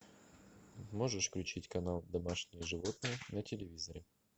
можешь включить канал домашние животные на телевизоре